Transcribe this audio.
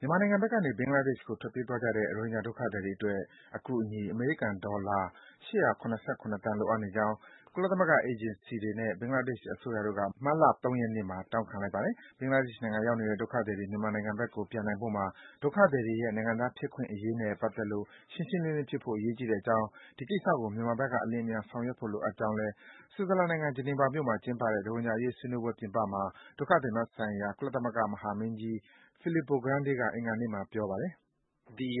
မြန်မာနိုင်ငံဘက်ကနေ ဘင်္ဂလားဒေ့ရှ်ကို ထွက်ပြေးသွားခဲ့ကြတဲ့ ရိုဟင်ဂျာဒုက္ခသည်တွေ အတွက် အကူအညီ အမေရိကန်ဒေါ်လာ ၈၇၇ သန်း လိုအပ်နေကြောင်း ကုလသမဂ္ဂ အေဂျင်စီတွေနဲ့ ဘင်္ဂလားဒေ့ရှ်အစိုးရတို့က မတ်လ ၃ ရက်နေ့မှာ တောင်းခံလိုက်ပါတယ်။ ဘင်္ဂလားဒေ့ရှ်နိုင်ငံ ရောက်နေတဲ့ ဒုက္ခသည်တွေ မြန်မာနိုင်ငံဘက်ကို ပြန်နိုင်ဖို့မှာ ဒုက္ခသည်တွေရဲ့ နိုင်ငံသားဖြစ်ခွင့် အခွင့်အရေးနဲ့ ပတ်သက်လို့ ရှင်းရှင်းလင်းလင်းလင်း ဖြစ်ဖို့ အရေးကြီးတဲ့အကြောင်း၊ ဒီကိစ္စကို မြန်မာဘက်က အလျင်အမြန် ဆောင်ရွက်ဖို့ လိုကြောင်းကိုလည်း ဆွစ်ဇလန်နိုင်ငံ ဂျနီဗာမြို့မှာကျင်းပတဲ့ ရိုဟင်ဂျာအရေး ဆွေးနွေးပွဲပြင်ပမှာ ဒုက္ခသည်များ ဆိုင်ရာ ကုလသမဂ္ဂ မဟာမင်းကြီး Filippo Grandi က အင်္ဂါနေ့က ပြောဆိုပါတယ်။ “ဒီပ